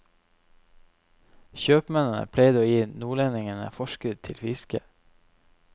Kjøpmennene pleide å gi nordlendingene forskudd til fisket.